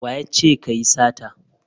Wa ya ce ka yi sata?